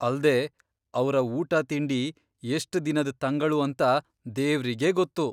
ಅಲ್ದೇ, ಅವ್ರ ಊಟ ತಿಂಡಿ ಎಷ್ಟ್ ದಿನದ್ ತಂಗಳು ಅಂತ ದೇವ್ರಿಗೇ ಗೊತ್ತು.